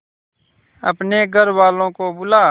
अपने घर वालों को बुला